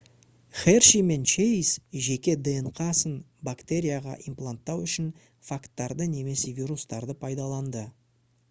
херши мен чейз жеке днқ-сын бактерияға импланттау үшін фагтарды немесе вирустарды пайдаланды